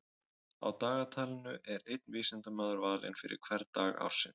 Á dagatalinu er einn vísindamaður valinn fyrir hvern dag ársins.